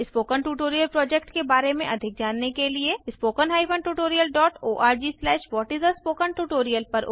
spoken tutorial project के बारे में अधिक जानने के लिए spoken tutorialorgव्हाट इस आ spoken tutorial